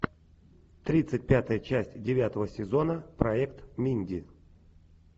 тридцать пятая часть девятого сезона проект минди